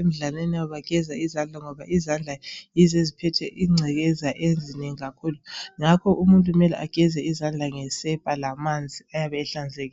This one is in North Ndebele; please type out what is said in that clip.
emidlalweni yabo bageze izandla ngoba izandla yizo eziphethe ingcekeza ezinengi kakhulu ngakho umuntu kumele ageze izandla ngesepa lamanzi ayabe ehlanzekile